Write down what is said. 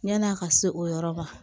Yan'a ka se o yɔrɔ ma